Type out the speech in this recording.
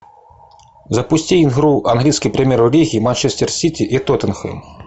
запусти игру английской премьер лиги манчестер сити и тоттенхэм